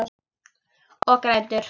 Og grætur.